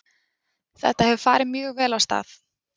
Þetta hefur farið mjög vel af stað.